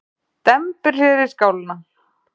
Dembir sér í skálina.